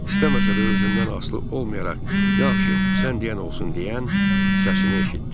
İstəməsə də özündən asılı olmayaraq yaxşı, sən deyən olsun deyən səsini eşitdi.